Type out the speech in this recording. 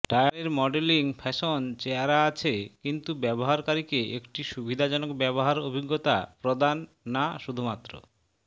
টায়ারের modelling fashion চেহারা আছে কিন্তু ব্যবহারকারীকে একটি সুবিধাজনক ব্যবহার অভিজ্ঞতা প্রদান না শুধুমাত্র